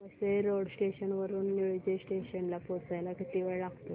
Vasai road station वरून Nilje station ला पोहचायला किती वेळ लागतो